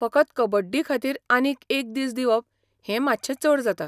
फकत कबड्डीखातीर आनीक एक दीस दिवप हें मातशें चड जाता.